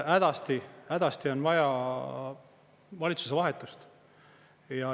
Hädasti on vaja valitsuse vahetust.